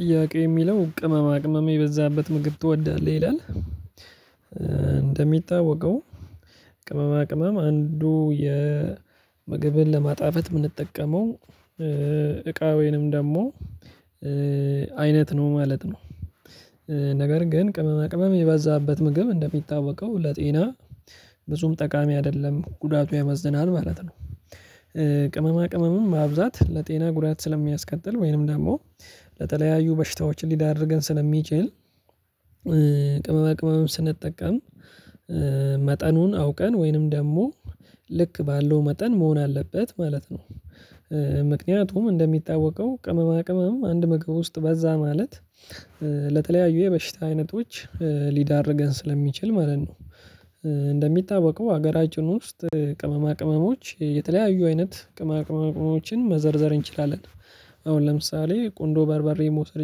ጥያቄ የሚለው ''ቅመማ ቅመም የበዛበት ምግብ ትወዳለህ?'' ይላል እንደሚታወቀው ቅመማ ቅመም አንዱ የምግብን ለማጣፈጥ የምንጠቀመው እቃ ወይንም ደግሞ አይነት ነው ማለት ነው ነገር ግን ቅመመ ቅመመ የበዛበትነው። ግብ እንደሚታወቀው ለጤና ብዙም ጠቃሚ አይደለም ጉዳቱ ያመዝናል ማለት ነው ቅመማ ቅመምም ማብዛት ለጤና ጉዳት ስለሚያስቀጥል ወይንም ደግሞ ለተለያዩ በሽታዎች ሊዳርገን ስለሚችል ቅመማ ቅመም ስንጠቀም መጠኑን አውቀን ወይንም ደግሞ ልክ ባለው መጠን መሆን አለበት ማለት ነው ምክንያቱም እንደሚታዋቀው ቅመማ ቅመም አንድ ምግብ ውስጥ በዛ ማለት ለተለያዩ የበሽታ አይነቶች ሊዳርገን ስለሚችል ማለት ነው እንደሚታወቀው ሀገራችን ውስጥ ቅመማ ቅመሞች የተለያዩ አይነት ቅመማ ቅመሞችን መዘርዘር እንችላለን አሁን ለምሳሌ ቆንዶ በርበሬ መውሰድ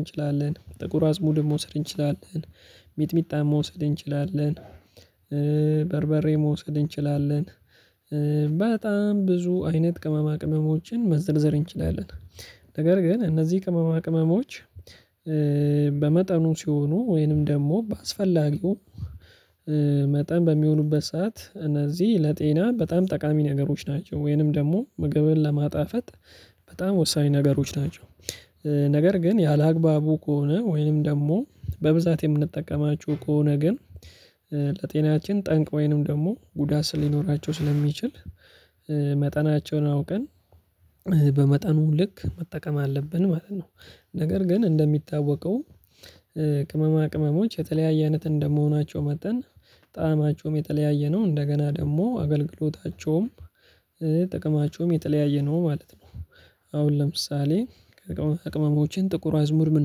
እንችላለን ጥቁር አዝሙድን መውሰድ እንችላለን ሚጥሚጣን መውሰድ እንችላለን በርበሬ መውሰድ እንችላለን በጣም ብዙ አይነት ቅመማ ቅመሞችን መዘርዘር እንችላለን ነገር ግን እነዚህ ቅመማ ቅመሞች በመጠኑ ሲሆኑ ወይንም ደግሞ በአስፈላጊው መጠን በሚሆኑበት ሰዓት እነዚህ ለጤና በጣም ጠቃሚ ነገሮች ናቸው ወይንም ደግሞ ምግብን ለማጣፈጥ በጣም ወሳኝ ነገሮች ናቸው ነገር ግን ያላግባቡ ከሆነ ወይንም ደግሞ በብዛት የምንጠቀማችሁ ከሆነ ግን ለጤናችን ጠንቅ ወይንም ደግሞ ጉዳት ሊኖራቸው ስለሚችል መጠናቸውን አውቀን በመጠኑ ልክ መጠቀም አለብን ማለት ነው። ነገር ግን እንደሚታወቀው ቅመማ ቅመሞች የተለያየ አይነት እንደመሆናቸው መጠን ጣዕማቸውም የተለያየ ነው እንደገና ደግሞ አገልግሎታቸውም ጥቅማቸውም የተለያየ ነው ማለት ነው። አሁን ለምሳሌ ከቅመሞችን ጥቁር አዝሙድ ምን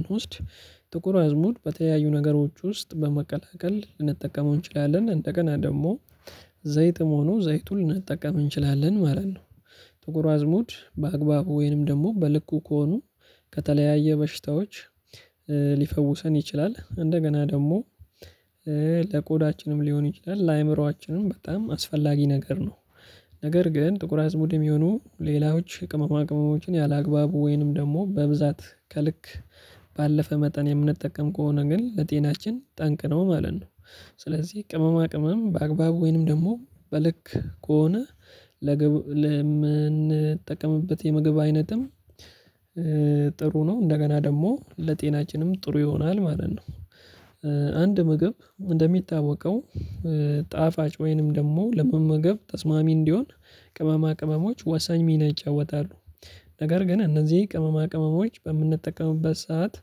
እንወስድ ጥቁር አዝሙር በተለያዩ ነገሮች ውስጥ በመቀላቀል ልንጠቀመው እንችላለን እንደገና ደግሞ ዘይትም ሆኖ ዘይቱን ልንጠቀም እንችላለን ማለት ነው ጥቁር አዝሙድ በአግባቡ ወይንም ደግሞ በልኩ ከሆኑ ከተለያየ በሽታዎች ሊፈውሰን ይችላል እንደገና ደግሞ፤ ለቆዳችንም ሊሆን ይችላል ለአእምሮአችንም በጣም አስፈላጊ ነገር ነው ነገር ግን ጥቁር አዝሙድም የሆኑ ሌላዎች ቅመማ ቅመሞችን ያላግባቡ ወይንም ደግሞ በብዛት ከልክ፣ ባለፈ መጠን የምንጠቀም ከሆነ ግን ለጤናችን ጠንቅ ነው ማለት ነው። ስለዚህ ቅመማ ቅመም በአግባቡ ወይንም ደግሞ በልክ ከሆነ ለምንጠቀምበት የምግብ አይነትም ጥሩ ነው እንደገና ደግሞ ለጤናችንም ጥሩ ይሆናል ማለት ነው አንድ ምግብ እንደሚታወቀው ጣፋጭ ወይንም ደግሞ ለመመገብ ተስማሚ እንዲሆን ቅመማ ቅመሞች ወሳኝ ሚና ይጫወታሉ ነገር ግን እነዚህ ቅመማ ቅመሞች በምንጠቀምበት ሰዓት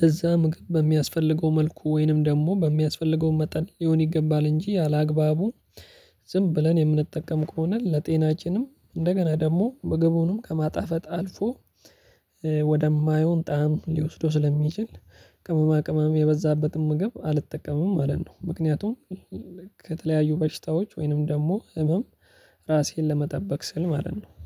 ለዛም ግን በሚያስፈልገው መልኩ ወይንም ደግሞ በሚያስፈልገው መጠን ሊሆን ይገባል እንጂ አላግባቡ ዝም ብለን የምንጠቀም ከሆነ ለጤናችንም እንደገና ደግሞ ምግቡንም ከማጣፈጥ አልፎ ወደማይሆን ጣዕም ሊወስደው ስለሚችል ቅመማ ቅመም የበዛበትን ምግብ አልጠቀምም ማለት ነው ምክንያቱም ከተለያዩ በሽታዎች ወይንም ደግሞ ህመም ራሴን ለመጠበቅ ስል ማለት ነው